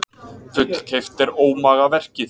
Fullkeypt er ómagaverkið.